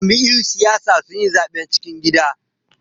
Jam'iyyun siyasa sun yi zaben cikin gida.